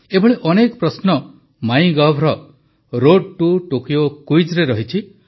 ଏଭଳି ଅନେକ ପ୍ରଶ୍ନ MyGov road to Tokyo କୁଇଜରେ ରହିଛି